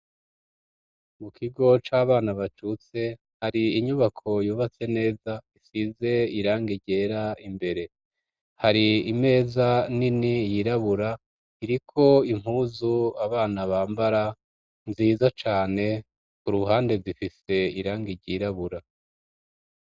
mukigo c'abana bacutse hari inyubako yubatse neza isize irangi ryera imbere hari imeza nini yirabura iriko impuzu abana bambara nziza cane kuruhande zifise irange ryirabura.